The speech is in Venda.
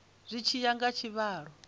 zwi tshi ya nga tshivhalo